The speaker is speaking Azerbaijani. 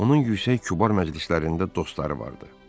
Onun yüksək kübar məclislərində dostları vardı.